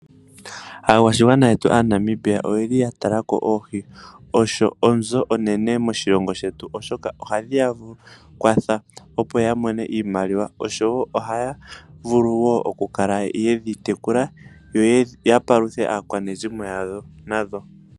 Aakwashigwana yetu aaNamibia oyeli ya talako oohi, osho onzo onene moshilongo shetu, oshoka oha dhiya kwatha opo ya mone iimaliwa, ohaya vulu wo oku kala yedhi tekula, yo ya paluthe aakwanezimo yawo nadho.